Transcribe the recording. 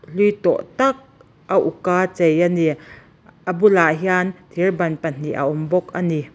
hlui tawh tak a uk a chei a ni a bulah hian thir ban pahnih a awm bawk a ni.